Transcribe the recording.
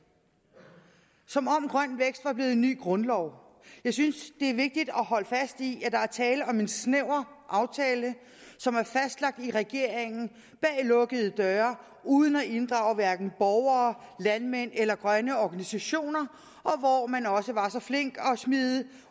som om grøn vækst var blevet en ny grundlov jeg synes det er vigtigt at holde fast i at der er tale om en snæver aftale som er fastlagt af regeringen bag lukkede døre uden at inddrage hverken borgere landmænd eller grønne organisationer og hvor man også var så flink at smide